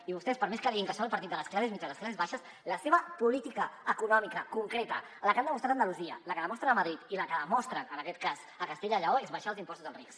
i vostès per més que diguin que són el partit de les classes mitjanes classes baixes la seva política econòmica concreta la que han demostrat a andalusia la que demostren a madrid i la que demostren en aquest cas a castella i lleó és abaixar els impostos als rics